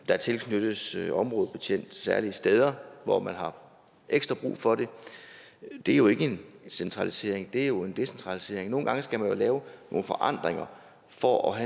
der tilknyttes en områdebetjent til særlige steder hvor man har ekstra brug for det det er jo ikke en centralisering det er jo en decentralisering nogle gange skal man jo lave nogle forandringer for at